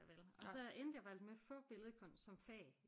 Vel og så endte jeg faktisk med at få billedkunst som fag